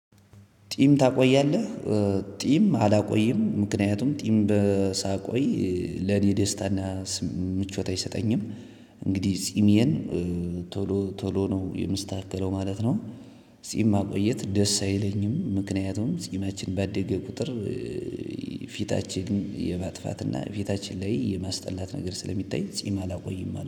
ጢም ታቆያለህ ጢም አላቆይም። ምክንያቱም ጢም ሳቆይ ለኔ ደስታና ምቾት አይሰጠኝም። እንግዲህ ጺሜየን ቶሎ ቶሎ ነው የምስተካከለው ማለት ነው። ጺማ ቆየት ደስ አይለኝም ምክንያቱም ጺማችን ባደገ ቁጥር። የማጥፋትና ፊታችን ላይ የማስጠላት ነገር ስለሚታይ ጺም አላቆይም ማለት ነው